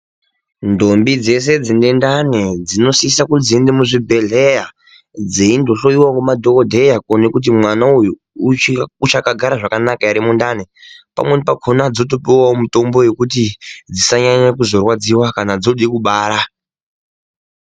Ndombi dzeshe dzine ndani dzinosisa kuti dziende muzvibhedhleya dzeindohloiwa ngemadhokodheya kuti mwana uyu ucha uchakagara zvakanaka ere mundani pamweni pakhona dzotopuwawo mutombo yekuti dzisanyanye kuzorwadziwa kana dzode kubara.